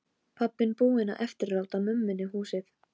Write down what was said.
Pabbinn búinn að eftirláta mömmunni húsið.